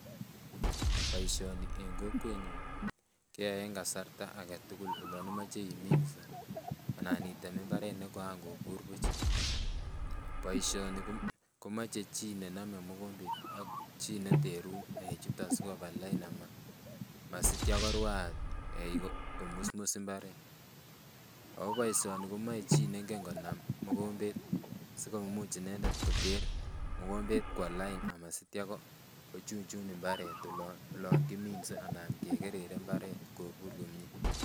Boisioni en kokwetnyun keyoe en kasarta aketugul olon imoche iminse anan item mbaret nekoan kobur buch boisioni komoche chii nenome mogombet ak chii neterun eik chuton sikoba lain masitya korwaat eik komusmus mbaret ako boisioni komoe chi nengen konam mogombet sikomuch inendet koter mogombet kwo lain amasitya kochunchun mbaret olon kiminse anan kekerere mbaret kobur komie.